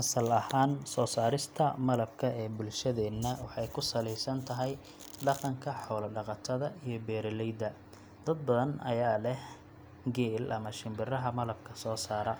Asal ahaan, soo saarista malabka ee bulshadeenna waxay ku saleysan tahay dhaqanka xoola-dhaqatada iyo beeraleyda. Dad badan ayaa leh geel ama shinbiraha malabka soo saara,